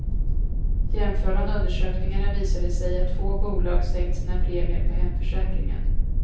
Jämför man undersökningarna visar det sig att två bolag sänkt sina premier på hemförsäkringen.